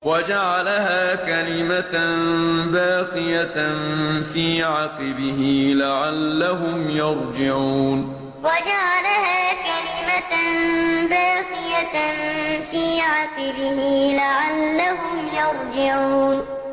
وَجَعَلَهَا كَلِمَةً بَاقِيَةً فِي عَقِبِهِ لَعَلَّهُمْ يَرْجِعُونَ وَجَعَلَهَا كَلِمَةً بَاقِيَةً فِي عَقِبِهِ لَعَلَّهُمْ يَرْجِعُونَ